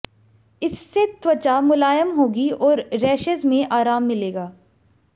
इससे त्वचा मुलायम होगी और रैशेज में आराम मिलेगा